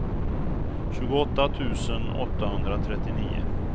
tjugoåtta tusen åttahundratrettionio